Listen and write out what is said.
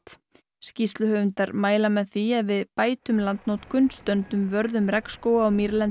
skýrsluhöfundar mæla með því að við bætum landnotkun stöndum vörð um regnskóga og mýrlendi